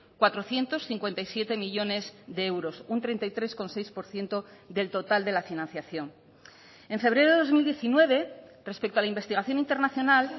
cuatrocientos cincuenta y siete millónes de euros un treinta y tres coma seis por ciento del total de la financiación en febrero de dos mil diecinueve respecto a la investigación internacional